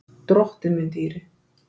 Drottinn minn dýri!